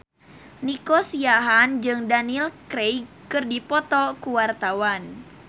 Nico Siahaan jeung Daniel Craig keur dipoto ku wartawan